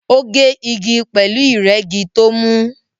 Ó gé igi pẹ̀lú ìrẹ́gi tó mú